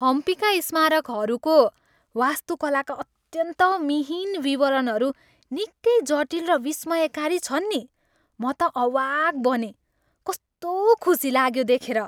हम्पीका स्मारकहरूको वास्तुकलाका अत्यन्त मिहीन विवरणहरू निकै जटिल र विस्मयकारी छन् नि म त अवाक बनेँ। कस्तो खुसी लाग्यो देखेर।